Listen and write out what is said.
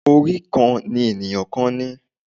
Orí kan ni ènìyàn ni.